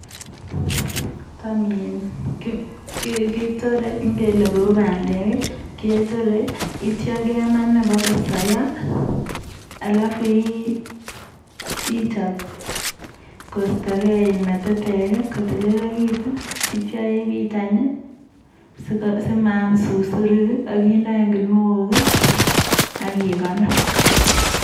Tam in ketorei ngele kou pandek, ketorei neityo, kema ine bo kosoiyo alafu ichop koistogei metetek, kotililekitu, neityo ibit anyun simaam susurik, ak ide anyu kinuok, ak ikonor.